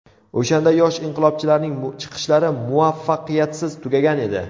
O‘shanda yosh inqilobchilarning chiqishlari muvaffaqiyatsiz tugagan edi.